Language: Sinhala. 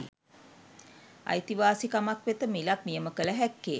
අයිතිවාසිකමක් වෙත මිලක් නියම කළ හැක්කේ